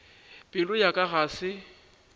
pelo ya ka ga se